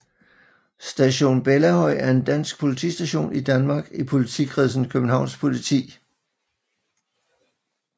Station Bellahøj er en dansk politistation i Danmark i politikredsen Københavns Politi